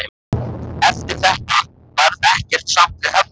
Eftir þetta varð ekkert samt við höfnina aftur.